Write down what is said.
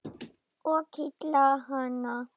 Og kitla hana.